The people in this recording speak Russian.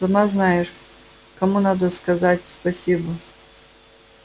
сама знаешь кому надо сказать спасибо